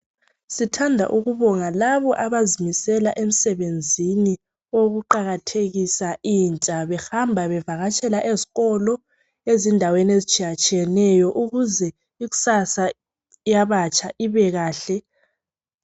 Sithanda ukubonga labo abazimisela emsebenzini owokuqakathekisa intsha, behamba bevakatshela ezikolo ezindaweni ezitshiyatshiyeneyo, ukuze ikusasa yabatsha ibekahle.